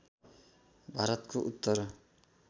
भारतको उत्तर